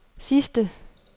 sidste